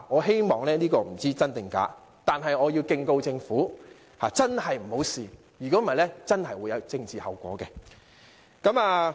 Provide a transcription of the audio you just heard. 傳言不知真假，但我要敬告政府，真的不要嘗試，否則真的會有政治後果。